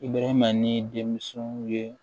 I bɛrɛma ni denmusow ye